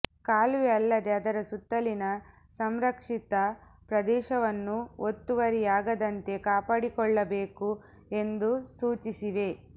ಕಾಲುವೆ ಅಲ್ಲದೆ ಅದರ ಸುತ್ತಲಿನ ಸಂರಕ್ಷಿತ ಪ್ರದೇಶವನ್ನೂ ಒತ್ತುವರಿಯಾಗದಂತೆ ಕಾಪಾಡಿಕೊಳ್ಳಬೇಕು ಎಂದು ಸೂಚಿಸಿವೆ